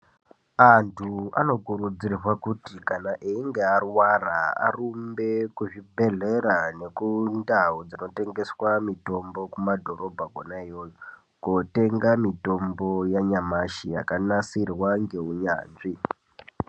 Antu anokurudzirwa kuti kana einge arwara arumbe kuzvibhedhlera nekundau dzinotengeswa mutombo kumadhorobha kwona iyoyo kotenga mitombo yanyamashi yakanasirwa ngeunyanzvi.